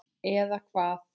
Eða hvað?